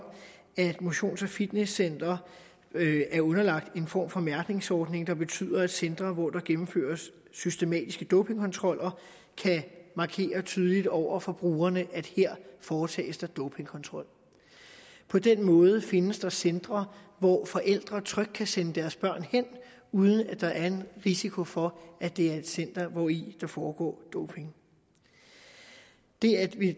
at motions og fitnesscentre er underlagt en form for mærkningsordning der betyder at centre hvor der gennemføres systematiske dopingkontroller kan markere tydeligt over for brugerne at her foretages der dopingkontrol på den måde findes der centre hvor forældre trygt kan sende deres børn hen uden at der er risiko for at det er et center hvori der foregår doping det er det